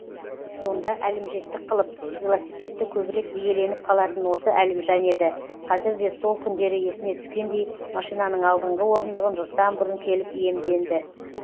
сонда әлімжеттік қылып велосипедті көбірек иеленіп қалатын осы әлімжан еді қазір де сол күндері есіне түскендей машинаның алдыңғы орындығын жұрттан бұрын келіп иемденді